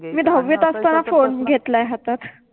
मि दहावित असताना फोन घेतला आहे हातात